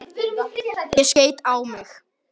Honum finnst hún falleg.